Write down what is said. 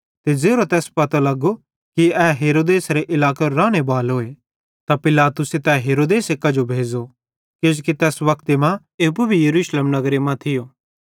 ते ज़ेरो तैस पतो लगो कि ए हेरोदेसेरे इलाकेरो रानेबालोए त पिलातुसे तै हेरोदेस कांजो भेज़ो किजोकि तैस वक्ते मां तै एप्पू भी यरूशलेम नगरे मां थियो